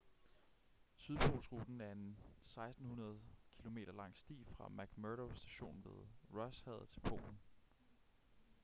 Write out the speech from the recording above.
sydpolsruten er en 1.600 kilometer lang sti fra mcmurdo station ved rosshavet til polen